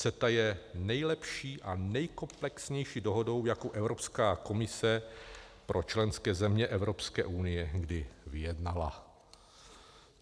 CETA je nejlepší a nejkomplexnější dohodou, jakou Evropská komise pro členské země Evropské unie kdy vyjednala.